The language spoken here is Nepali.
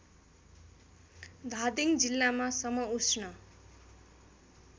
धादिङ जिल्लामा समउष्ण